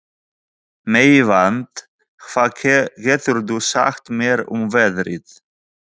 Meyvant, hvað geturðu sagt mér um veðrið?